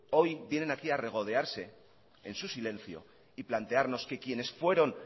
hoy vienen aquí a regodearse en su silencio y plantearnos que quienes fueron